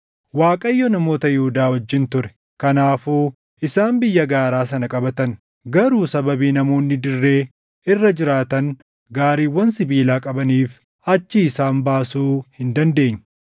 Waaqayyo namoota Yihuudaa wajjin ture. Kanaafuu isaan biyya gaaraa sana qabatan; garuu sababii namoonni dirree irra jiraatan gaariiwwan sibiilaa qabaniif achii isaan baasuu hin dandeenye.